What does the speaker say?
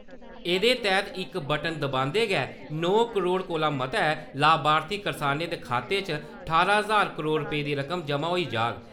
एह्दे तैहत इक बटन दबांदे गै नौ करोड कोला मते लाभार्थी करसानें दे खाते च ठारां ज्हार करोड रपेS दी रकम जमां होई जाह्ग ।